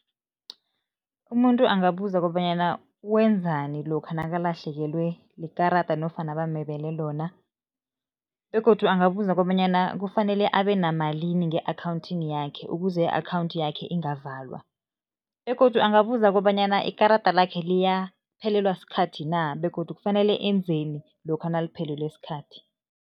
Umuntu angabuza kobanyana wenzani lokha nakalahlekelwe likarada nofana bamebele lona. Begodu angabuza kobanyana kufanele abe namalimi nge-akhawundini yakhe ukuze i-akhawundi yakhe ingavalwa, begodu angabuza kobanyana ikarada lakhe liyaphelelwa sikhathi na begodu kufanele enzeni lokha naliphelelwe sikhathi.